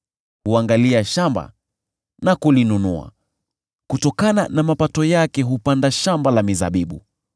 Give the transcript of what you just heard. Huangalia shamba na kulinunua, kutokana na mapato yake hupanda shamba la mizabibu.